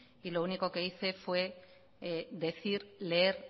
y lo único que hice fue decir leer